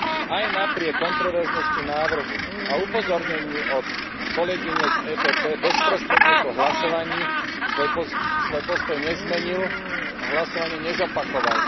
Aj napriek kontroverznosti návrhu a upozorneniu od kolegyne z EPP bezprostredne po hlasovaní svoj postoj nezmenil a hlasovanie nezopakoval.